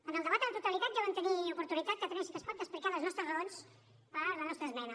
en el debat a la totalitat ja vam tenir oportunitat catalunya sí que es pot d’explicar les nostres raons per a la nostra esmena